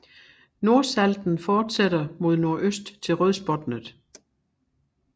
Nordsalten fortsætter mod nordøst til Rødsbotnet